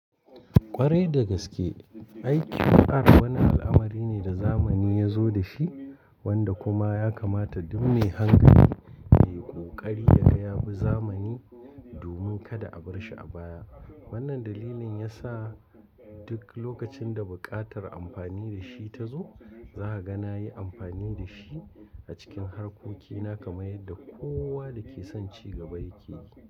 Kwarai da gaske, IQR wani al'amari ne da zamani ya zo da shi wanda kuma ya kamata duk mai hankali yayi ƙoƙari yaga yabi zamani domin kada a barshi a baya. Wannan dalilin yasa duk lokacin da buƙatar amfani da shi ta zo, za a gana yi amfani da shi a cikin harkokina kamar yadda kowa dake son cigaba yake yi.